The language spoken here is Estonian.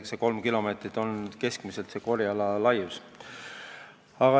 See kolm kilomeetrit on keskmine korjeala laius.